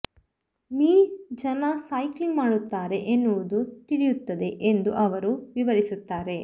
me ಜನ cycling ಮಾಡುತ್ತಾರೆ ಎನ್ನುವುದೂ ತಿಳಿಯುತ್ತದೆ ಎಂದು ಅವರು ವಿವರಿಸುತ್ತಾರೆ